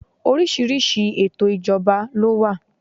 Oríṣiríṣi ètò ìjọba ló wà.